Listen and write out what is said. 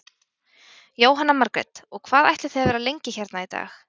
Jóhanna Margrét: Og hvað ætlið þið að vera lengi hérna í dag?